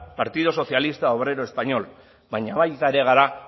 partido socialista obrero español baina baita ere gara